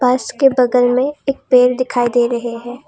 बस के बगल में एक पेड़ दिखाई दे रहे हैं।